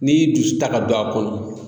N'i y'i dusu ta ka don a kɔnɔ.